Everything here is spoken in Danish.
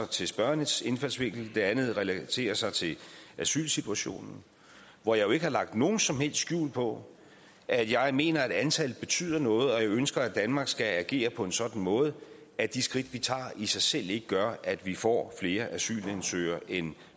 til spørgerens indfaldsvinkel den anden relaterer sig til asylsituationen hvor jeg ikke har lagt nogen som helst skjul på at jeg mener at antallet betyder noget og at jeg ønsker at danmark skal agere på en sådan måde at de skridt vi tager i sig selv ikke gør at vi får flere asylansøgere end